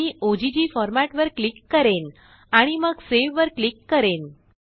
मीogg format वरक्लिक करेन आणि मग सेव वरक्लिक करेन